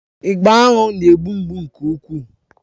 Ịgba aṅụ na-egbu mgbu nke ukwuu.